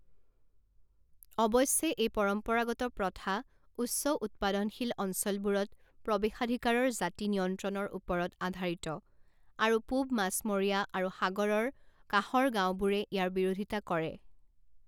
অৱশ্যে, এই পৰম্পৰাগত প্ৰথা উচ্চ উৎপাদনশীল অঞ্চলবোৰত প্ৰৱেশাধিকাৰৰ জাতি নিয়ন্ত্ৰণৰ ওপৰত আধাৰিত আৰু পূৱ মাছমৰীয়া আৰু সাগৰৰ কাষৰ গাওঁবোৰে ইয়াৰ বিৰোধিতা কৰে।